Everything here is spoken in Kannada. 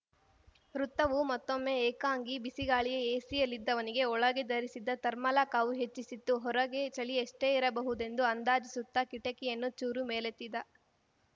ವೃತ್ತವು ಮತ್ತೊಮ್ಮೆ ಏಕಾಂಗಿ ಬಿಸಿಗಾಳಿಯ ಏಸಿಯಲ್ಲಿದ್ದವನಿಗೆ ಒಳಗೆ ಧರಿಸಿದ್ದ ಥರ್ಮಲ ಕಾವು ಹೆಚ್ಚಿಸಿತ್ತು ಹೊರಗೆ ಛಳಿಯೆಷ್ಟೇ ಇರಬಹುದೆಂದು ಅಂದಾಜಿಸುತ್ತ ಕಿಟಿಕಿಯನ್ನು ಚೂರು ಮೇಲೆತ್ತಿದ